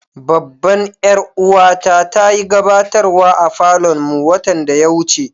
Babban yar uwa ta ta yi gabatarwa a falon mu watan da ya wuce.